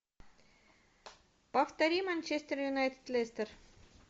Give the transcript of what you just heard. повтори манчестер юнайтед лестер